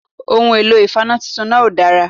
Ohun èlò ìfaná titun náà òdára